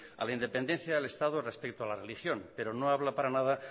a la independencia del estado respecto a la religión pero no habla para nada